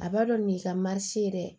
A b'a dɔn nin ka maa si ye dɛ